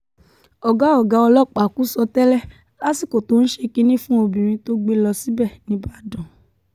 ọ̀gá ọ̀gá ọlọ́pàá kù sọ́tẹ́ẹ̀lì lásìkò tó ń ṣe kínní fún obìnrin tó gbé lọ síbẹ̀ nígbàdàn